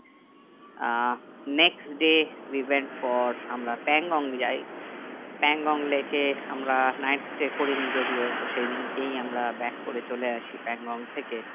ah next day reven for আমরা পাংগং যাই পাংগং লেকে আমরা night stay করিনি যদিও তো সেইদিনকেই আমরা back করে চলে আসি পাংগং থেকে